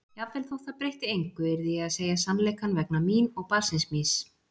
Jafnvel þótt það breytti engu yrði ég að segja sannleikann vegna mín og barnsins míns.